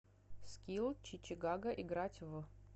скилл чичигага играть в